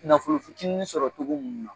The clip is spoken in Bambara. Nafolo fitiinin sɔrɔ cogo mun na.